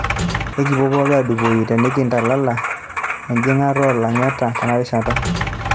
ekipuo pookii adupoyu tenikintalala injing'at oo lang'etaa tenarishata.